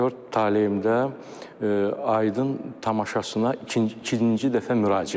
aktyor taleyimdə Aydın tamaşasına ikinci dəfə müraciət var.